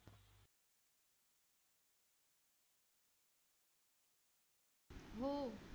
हो.